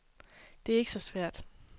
Det er ikke så svært.